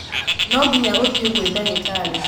Nonginya uthiĩ gwĩ ndagĩtarĩ